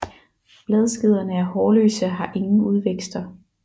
Bladskederne er hårløse og har ingen udvækster